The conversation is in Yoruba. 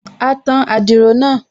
A tan adiro náà